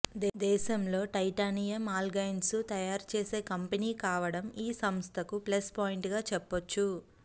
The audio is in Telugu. దేశంలో టైటానియం అలాయ్స్ను తయారు చేసే కంపెనీ కావడం ఈ సంస్థకు ప్లస్ పాయింట్గా చెప్పొచ్చు